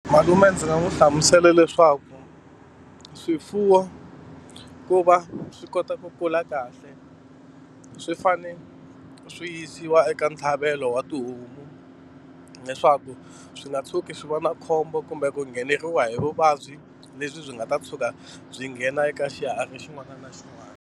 Malume ndzi nga n'wi hlamusela leswaku swifuwo ku va swi kota ku kula kahle swi fane swi yisiwa eka ntlhavelo wa tihomu leswaku swi nga tshuki swi va na khombo kumbe ku ngheneriwa hi vuvabyi lebyi byi nga ta tshuka byi nghena eka xiharhi xin'wana na xin'wana.